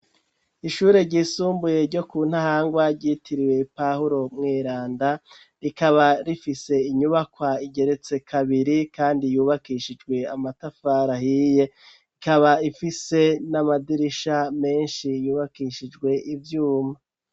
Ishure ryisumbuye, ryo ku Ntahangwa, ryitiriwe pahuro mweranda; rikaba rifise inyubakwa, igeretse kabiri, kandi yubakishijwe, amatafari ahiye; ikaba ifise n'amadirisha, menshi, yubakishijwe ivyuma.